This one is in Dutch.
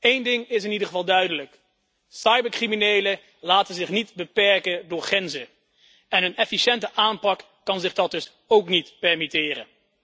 Één ding is in ieder geval duidelijk cybercriminelen laten zich niet beperken door grenzen. Een efficiënte aanpak kan zich dat dus ook niet permitteren.